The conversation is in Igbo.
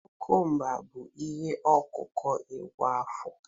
kukumba bụ ihe ọkụkụ kwa afọ